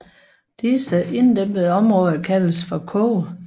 Disse inddæmmede områder kaldes for koge